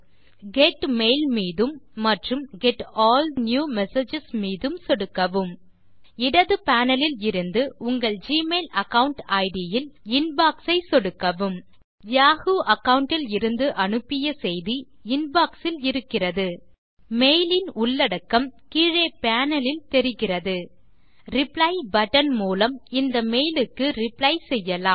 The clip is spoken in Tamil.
கெட் மெயில் மீதும் மற்றும் கெட் ஆல் நியூ மெசேஜஸ் மீது சொடுக்கவும் இடது பேனல் லில் இருந்துஉங்கள் ஜிமெயில் அகாவுண்ட் இட் இல் இன்பாக்ஸ் ஐ சொடுக்கவும் யாஹூ அகாவுண்ட் இலிருந்து அனுப்பிய செய்தி இன்பாக்ஸ் இல் இருக்கிறது மெயில் இன் உள்ளடகக்ம் கீழே பேனல் லில் தெரிகிறது ரிப்ளை பட்டன் மூலம் இந்த மெயிலுக்கு ரிப்ளை செய்யலாம்